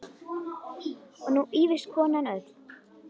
Og nú ýfist konan öll.